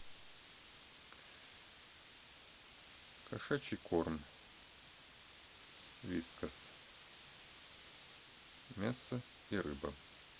кошачий корм вискас мясо и рыба